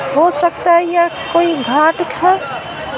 हो सकता है यहां कोई घाट है।